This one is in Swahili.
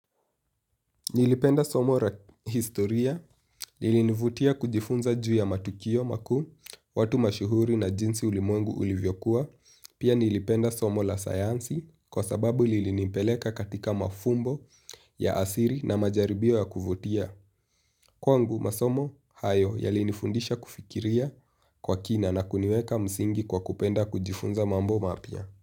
Nilipenda somo la historia lilinivutia kujifunza juu ya matukio makuu, watu mashuhuri na jinsi ulimwengu ulivyokuwa, pia nilipenda somo la sayansi kwa sababu lilinipeleka katika mafumbo ya asili na majaribio ya kuvutia. Kwangu masomo hayo yalinifundisha kufikiria kwa kina na kuniweka msingi kwa kupenda kujifunza mambo mapya.